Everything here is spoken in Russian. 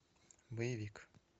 боевик